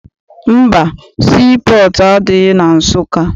Mba, sii pọọtụ adịghị na Nsụka.